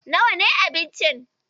Nawa ne abincin?